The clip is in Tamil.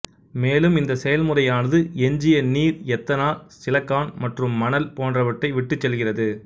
மேலும் இந்தச் செயல்முறையானது எஞ்சிய நீர் எத்தனால் சிலக்கான் மற்றும் மணல் போன்றவற்றை விட்டுச்செல்கிறது